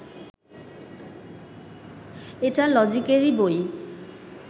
এটা লজিকেরই বই